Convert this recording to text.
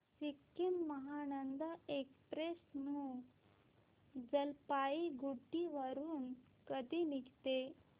Sikkim Mahananda express new Jalpaiguri वरून कधी निघते